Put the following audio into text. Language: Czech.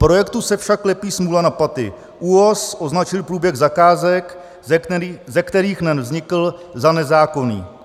Projektu se však lepí smůla na paty, ÚOHS označil průběh zakázek, ze kterých NEN vznikl, za nezákonný."